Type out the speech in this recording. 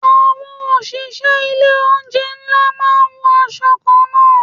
Àwọn òṣìṣẹ́ ilé oúnjẹ ńlá máa ń wọ aṣọ kan náà.